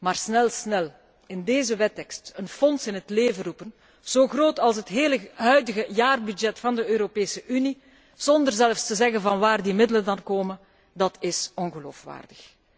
Maar, snel snel, in deze wettekst een fonds in het leven roepen, zo groot als het hele huidige jaarbudget van de Europese Unie, zonder zelfs te zeggen waar die middelen vandaan komen, dat is ongeloofwaardig.